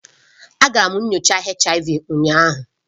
Agara m nyocha HIV ụnyaahụ